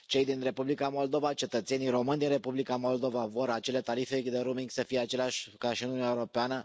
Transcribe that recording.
Cei din Republica Moldova, cetățenii români din Republica Moldova vor ca acele tarife de roaming să fie același ca și în Uniunea Europeană.